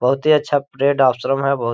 बहुत ही अच्छा प्रेड आश्रम है बहुत--